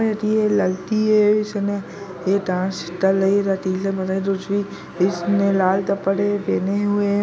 एक ये लड़की है इसने ये डांस इसने लाल तपड़े पहने हुए है।